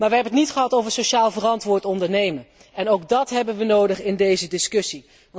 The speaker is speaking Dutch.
Maar wij hebben het niet gehad over sociaal verantwoord ondernemen en ook dat hebben wij nodig in deze discussie.